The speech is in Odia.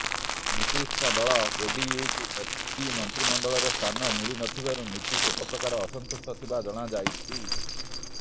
ନିତିଶଙ୍କ ଦଳ ଜେଡିୟୁକୁ ମୋଦୀ ମନ୍ତ୍ରିମଣ୍ଡଳରେ ସ୍ଥାନ ମିଳି ନ ଥିବାରୁ ନିତିଶ ଏକପ୍ରକାର ଅସନ୍ତୁଷ୍ଟ ଥିବା ଜଣାଯାଇଛି